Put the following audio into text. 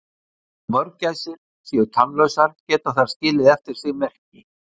Þó mörgæsir séu tannlausar geta þær skilið eftir sig merki.